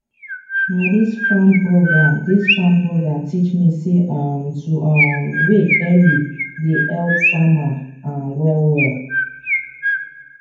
na this farm program this farm program teach me say um to um wake early dey help farmer um wellwell